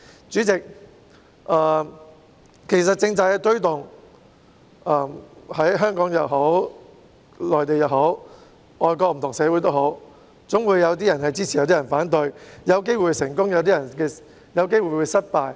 主席，其實推動政策的工作，在香港也好，內地也好，外國也好，總會有些人支持，有些人反對，有機會成功，亦有機會失敗。